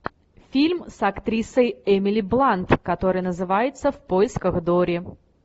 фильм с актрисой эмили блант который называется в поисках дори